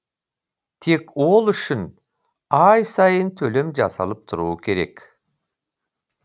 тек ол үшін ай сайын төлем жасалып тұруы керек